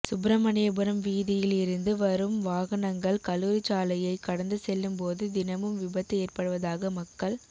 சுப்பிரமணியபுரம் வீதியில் இருந்து வரும் வாகனங்கள் கல்லுாரிச்சாலையை கடந்து செல்லும் போது தினமும் விபத்து ஏற்படுவதாக மக்கள்